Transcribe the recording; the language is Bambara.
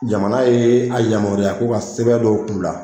Jamana ye a yamaruya k'o ka sɛbɛn dɔw k'u la.